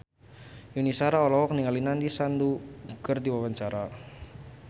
Yuni Shara olohok ningali Nandish Sandhu keur diwawancara